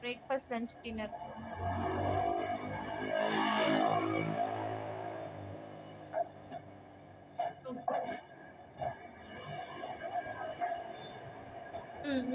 சரிங்க mam okay mam so வந்து KG வந்து fourKG பண்றோம் mam cake okay ங்களா? ரொம்ப பெருசா பண்ணாலும் photo ஒரு மாதிரி இதாய்டும் சரிங்களா?